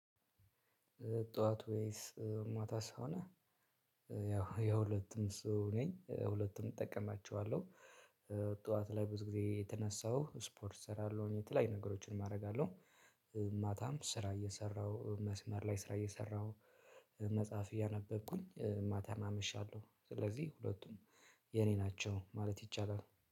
ጠዋት ወይስ ማታ ስለሆነ ያው የሁለቱም ሰው ነኝ ሁለቱንም እጠቀማቸዋለሁ። ጠዋት ላይ ብዙ ጊዜ እየተነሳው ስፖርት እሰራለሁ የተለያዩ ነገሮችንም አደርጋለሁ። ማታም ስራ እየሰራሁ መስመር ላይ ስራ እየሰራሁ መጽሐፍ እያነበብኩኝ ማታን አመሻለሁ። ስለዚህ ሁለቱም የኔ ናቸው ማለት ይቻላል።